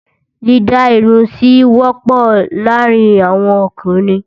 Dídá Irun sí wọ́pọ̀ láàárín àwọn ọkùnrin.